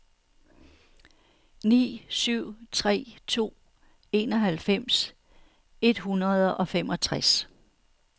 ni syv tre to enoghalvfems et hundrede og femogtres